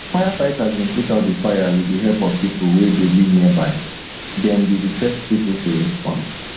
firefighters bin put out di fire wit di help of pipo wey dey live nearby dem be di first to respond